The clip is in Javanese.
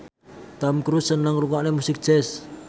Tom Cruise seneng ngrungokne musik jazz